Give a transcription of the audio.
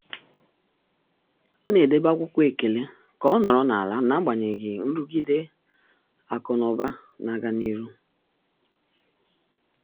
Ọ́ nà-édòbé ákwụ́kwọ́ ékèlé kà ọ́ nọ́rọ́ n’álá n’ágbànyéghị́ nrụ́gídé ákụ̀ nà ụ́bà nà-ágá n’íhú.